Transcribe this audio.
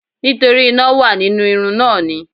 Nítorí iná wà nínú irun náà ni.